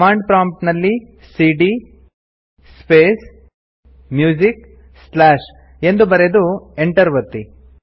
command prompt ಅಲ್ಲಿ ಸಿಡಿಯ space music ಮ್ ಕ್ಯಾಪಿಟಲ್ ನಲ್ಲಿ ಸ್ಲಾಶ್ ಎಂದು ಬರೆದು Enter ಒತ್ತಿ